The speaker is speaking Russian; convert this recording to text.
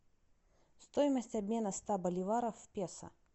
стоимость обмена ста боливаров в песо